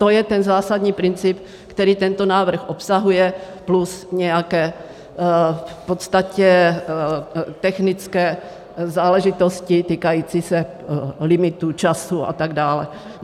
To je ten zásadní princip, který tento návrh obsahuje, plus nějaké v podstatě technické záležitosti týkající se limitů, času a tak dále.